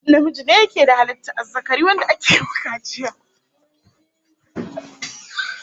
Namiji ne yake da halittar azzakari wanda ake yi wa kaciya